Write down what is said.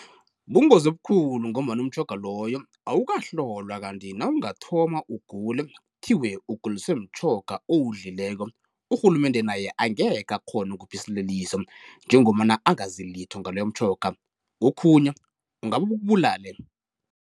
Bungozi obukhulu ngombana umtjhoga loyo awukahlolwa kanti nawungathoma ugule kuthiwe uguliswe mtjhoga owudlileko, urhulumende naye angekhe akghona ukukukupha isililiso njengombana angazi litho ngaloyo mtjhoga kokhunye ungabe ukubulale.